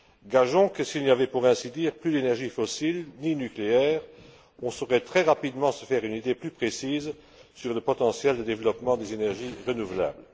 Gageons que s'il n'y avait, pour ainsi dire, plus d'énergie fossile ni nucléaire, on saurait très rapidement se faire une idée plus précise sur le potentiel de développement des énergies renouvelables.